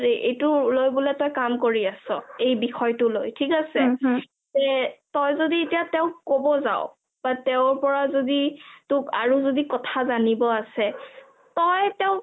এইটো লই বুলে তই কাম কৰি আছ এই বিষয়টো লই থিক আছে তে তই যদি এতিয়া তেওক ক'ব যাও বা তেওৰ পৰা যদি আৰু কথা যানিব আছে তই তেওক